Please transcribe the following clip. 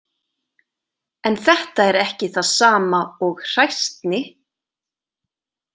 En þetta er ekki það sama og hræsni.